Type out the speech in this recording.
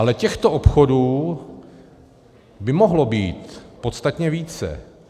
Ale těchto obchodů by mohlo být podstatně více.